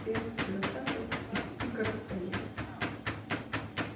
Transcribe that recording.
всех бюрократов и коррупционеров